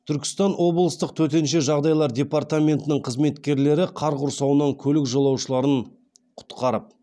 түркістан облыстық төтенше жағдайлар департаментінің қызметкерлері қар құрсауынан көлік жолаушыларын құтқарып